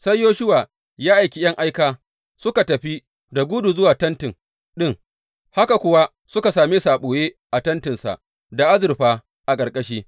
Sai Yoshuwa ya aiki ’yan aika suka tafi da gudu zuwa tenti ɗin, haka kuwa suka same su a ɓoye a tentinsa, da azurfa a ƙarƙashi.